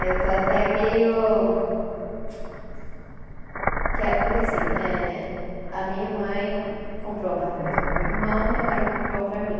Aí eu estou até meio. Que é, porque assim, a minha mãe comprou um apartamento para o meu irmão e agora vai comprar um para mim.